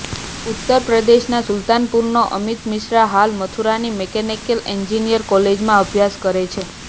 ઉત્તર પ્રદેશના સુલતાનપુરનો અમિત મિશ્રા હાલ મથુરાની મિકેનિકલ એન્જિનિયરિંગ કોલેજમાં અભ્યાસ કરે છે